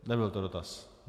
Nebyl to dotaz.